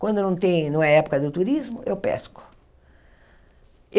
Quando não tem não é época do turismo, eu pesco.